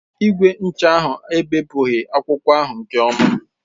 Igwe ncha ahụ ebepụghị akwụkwọ ahụ nke ọma.